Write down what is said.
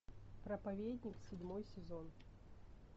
проповедник седьмой сезон